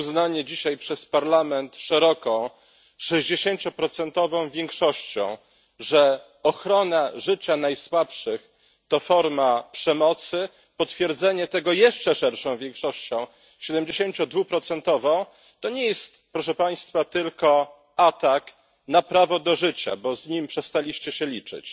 Uznanie dzisiaj przez Parlament szeroką sześćdziesięcioprocentową większością, że ochrona życia najsłabszych to forma przemocy, potwierdzenie tego jeszcze szerszą większością, siedemdziesięciodwuprocentową, to nie jest, proszę Państwa, tylko atak na prawo do życia, bo z nim przestaliście się liczyć,